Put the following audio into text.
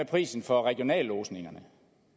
prisen for regionallodsningerne